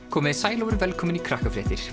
komiði sæl og verið velkomin í